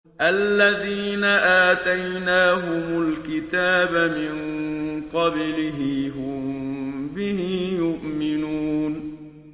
الَّذِينَ آتَيْنَاهُمُ الْكِتَابَ مِن قَبْلِهِ هُم بِهِ يُؤْمِنُونَ